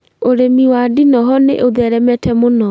Ũrĩmi wa ndinoho nĩ ũtheremete mũno